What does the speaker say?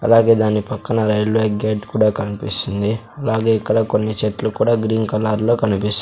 అలాగే దాని పక్కన రైల్వే గేట్ కూడా కనిపిస్తుంది అలాగే ఇక్కడ కొన్ని చెట్లు కూడా గ్రీన్ కలర్ లో కనిపిస్--